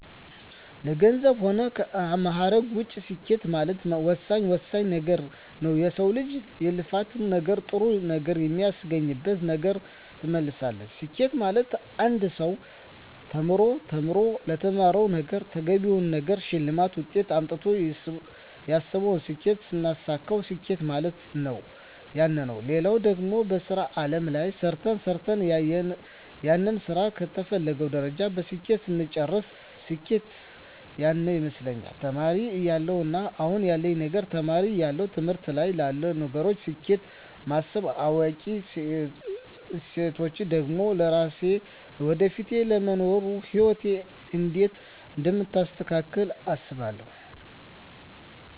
ከገንዘብ ሆነ ከማእረግ ውጭ ስኬት ማለት ወሳኝ ወሳኝ ነገረ ነዉ የሰው ልጅ የልፋት ነገር ጥሩ ነገር የሚያገኝበት ነገር ትመስላለች ስኬት ማለት አንድ ሰው ተምሮ ተምሮ ለተማረዉ ነገረ ተገቢውን ነገር ሸልማት ውጤት አምጥተው ያሰብቱን ስኬት ስናሳካዉ ስኬት ማለት ያነ ነዉ ሌላው ደግሞ በሥራ አለም ላይ ሰርተ ሰርተን ያንን ስራ ከተፈለገዉ ደረጃ በስኬት ስንጨርስ ስኬት ያነ ይመስለኛል ተማሪ እያለው እና አሁን ያለዉ ነገር ተማሪ እያለው ትምህርቶች ላይ ላሉ ነገሮች ስኬት ማስብ አዋቂ ስቾን ደግሞ ለስራየ ለወደፊቱ ለሚኖሩ ህይወት እንዴት አደምታሳካቸው አስባለሁ